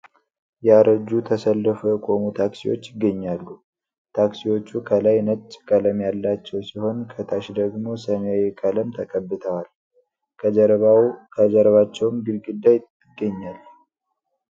ያረጁ ተሰልፈው የቆሙ ታክሲዎች ይገኛሉ ።ታክሲዎቹ ከላይ ነጭ ቀለም ያላቸው ሲሆን ከታች ደግሞ ሰማያዊ ቀለም ተቀብተዋል ። ከጀርባቸውም ግድግዳ ይገኛል።